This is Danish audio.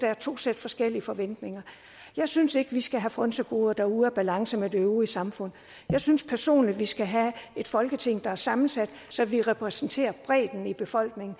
er to sæt forskellige forventninger jeg synes ikke at vi skal have frynsegoder der er ude af balance med det øvrige samfund jeg synes personligt at vi skal have et folketing der er sammensat så vi repræsenterer bredden i befolkningen